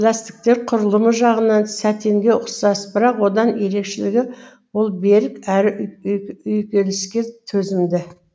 ләстіктер құрылымы жағынан сәтенге ұқсас бірақ одан ерекшелігі ол берік әрі үйкеліске төзімді